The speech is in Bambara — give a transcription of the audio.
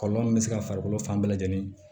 Kɔlɔlɔ min bɛ se ka farikolo fan bɛɛ lajɛlen